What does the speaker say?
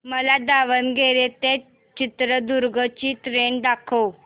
मला दावणगेरे ते चित्रदुर्ग ची ट्रेन दाखव